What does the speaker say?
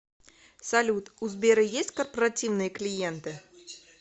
салют у сбера есть корпоративные клиенты